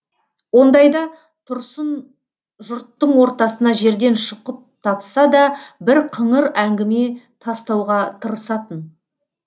ондайда тұрсын жұрттың ортасына жерден шұқып тапса да бір қыңыр әңгіме тастауға тырысатын